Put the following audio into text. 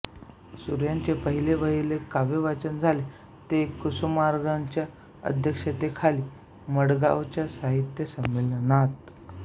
सुर्व्यांचे पहिलेवहिले काव्यवाचन झाले ते कुसुमाग्रजांच्या अध्यक्षतेखाली मडगावच्या साहित्य संमेलनात